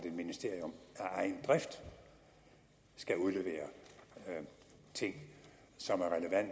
et ministerium af egen drift skal udlevere ting som